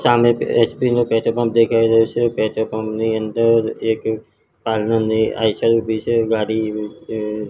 સામે એચ_પી નુ petrol pump દેખાય રહ્યુ છે પેટ્રોલ પંપ ની અંદર એક ઉભી છે ગાડી--